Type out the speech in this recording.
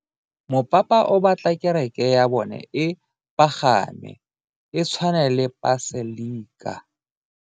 Mopapa o batla kereke ya bone e pagame, e tshwane le paselika.